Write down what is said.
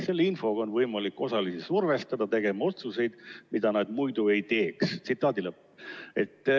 Selle infoga on võimalik osalisi survestada tegema otsuseid, mida nad muidu ei teeks.